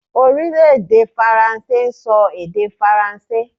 Orílèdè Faransé n so èdè faransé